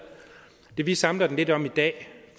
det vi samler den lidt om i dag